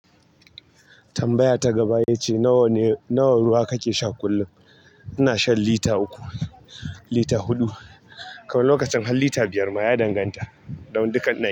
Tambaya ta gaba ita ce nawa ne, nawa ruwa kake sha kullum? Ina shan lita uku, lita huɗu. Kam lokacin har lita biyar ma ya danganta da dukan ɗaki.